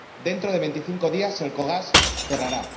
Dentro de veinticinco días Elcogas cerrará.